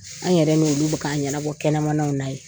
An yɛrɛ n'olu bɛ ka ɲɛnabɔ kɛnɛmanaw na ye.